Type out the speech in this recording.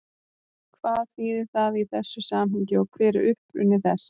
Hvað þýðir það í þessu samhengi og hver er uppruni þess?